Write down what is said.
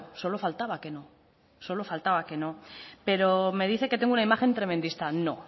solo faltaba que no solo faltaba que no pero me dice que tengo una imagen tremendista no